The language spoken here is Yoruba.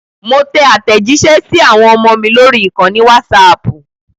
Mo tẹ àtẹ̀jísẹ́ sí àwọn ọmọ mi lórí ìkànnì Wásaapù